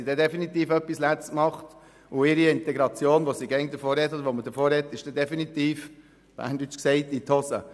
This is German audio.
Sonst haben sie wirklich etwas falsch gemacht, und ihre Integration, von der man immer spricht, ist definitiv gescheitert.